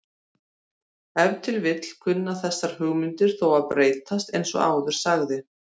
Ef til vill kunna þessar hugmyndir þó að breytast eins og áður sagði.